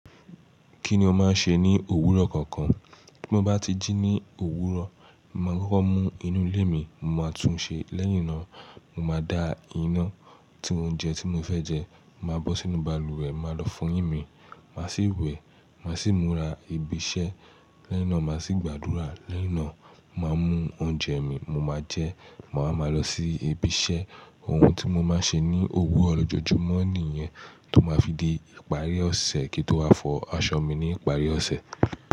Kí ni o máa ń ṣe ní òwúrọ̀ kọ̀ọ̀kan? Bí mo bá ti jí ní òwúrọ̀, màá kọ́kọ́ mú inú ilé mi. Mo máa tún un ṣe. Lẹ́yìn náà, mo máa dá iná. Tí oúnjẹ tí mo fẹ́ jẹ, màá bọ́ sínú balùwẹ̀, màá lọ fọ eyín mi. Màá sì wẹ̀. Màá sì múra ibi iṣẹ́. Lẹ́yìn náà, màá sì gbàdúrà. Lẹ́yìn náà, màá mú oúnjẹ mi, mo máa jẹ. Màá máa lọ sí ibi iṣẹ́. Ohun tí mo máa ń ṣe ní òwúrọ̀ ojoojúmọ́ nìyẹn tó máa fi di ìparí ọ̀sẹ̀ kí n tó wá fọ aṣọ mi ní ìparí ọ̀sẹ̀.